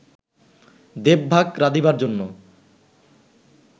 দেবভাগ রাধিবার জন্য